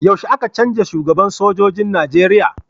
Yaushe aka cenja shugaban sojojin na nigeria?